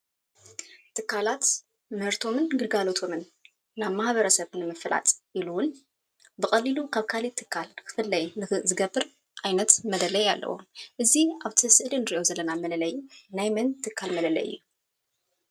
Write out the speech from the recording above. ትካላት ምህርቶም ግልጋሎቶምን ናብ ማሕበረሰብ ንምፍላጥ ኢሉ እውን ብቐሊሉ ካብ ካልእ ትካል ክፍለይ ዝገብር ዓይነት መለለይ ኣለዎ፡፡ እዚ ኣብ እቲ ስእሊ እንሪኦ ዘለና መለለይ ናይ መን ትካል መለለይ እዩ?